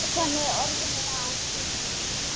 Klukkan er orðin margt.